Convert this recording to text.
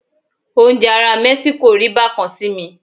Oúnjẹ àwọn ará Mẹ́síkò rí bá kan sí mi.